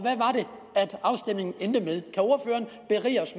hvad